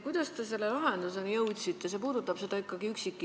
Kuidas te selle lahenduseni jõudsite?